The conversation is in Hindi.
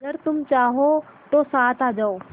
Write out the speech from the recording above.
अगर तुम चाहो तो साथ आ जाओ